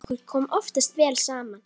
Okkur kom oftast vel saman.